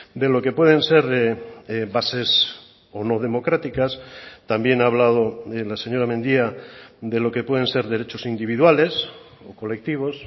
de lo que pueden ser bases o no democráticas también ha hablado la señora mendia de lo que pueden ser derechos individuales o colectivos